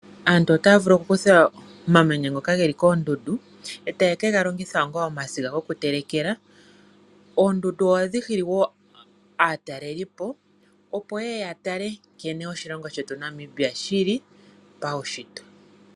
Aantu ota ya vulu okukutha omamanya ngoka ge li koondundu e taye kegalongitha onga omasiga gokutelekela. Oondundu oha dhi hili wo aatalelipo opo yeye ya tale nkene oshilongo sheu Namibia shili paushitwe.